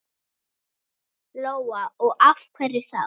Lóa: Og af hverju þá?